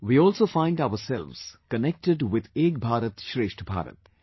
We also find ourselves connected with Ek Bharat Shrestha Bharat